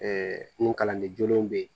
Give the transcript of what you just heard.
Ɛɛ nin kalanden jolenw be yen